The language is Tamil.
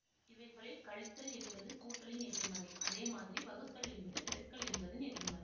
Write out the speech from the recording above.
இவைகளில் கழித்தல் என்பது கூட்டலின் எதிர்மறை அதே மாதிரி வகுத்தல் என்பது பெருக்கல் என்பதின் எதிர்மறை